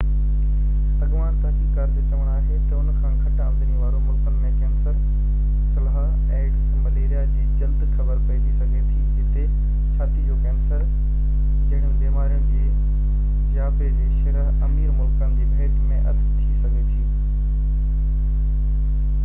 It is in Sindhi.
اڳواڻ تحقيق ڪار جو چوڻ آهي تہ ان کان گهٽ آمدني واري ملڪن ۾ ڪينسر سلهہ ايڊز ۽ مليريا جي جلدي خبر پئجي سگهي ٿي جتي ڇاتي جو ڪينسر جهڙين بيمارين جي جياپي جي شرح امير ملڪن جي ڀيٽ ۾ اڌ ٿي سگهي ٿي